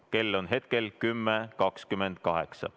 Kell on hetkel 10.28.